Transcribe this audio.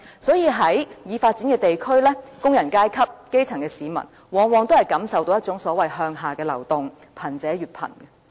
所以在已發展的地區，工人階級、基層市民往往都感受到一種所謂"向下的流動"，令貧者越貧。